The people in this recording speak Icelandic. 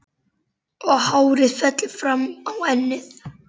Og hárið fellur fram á ennið.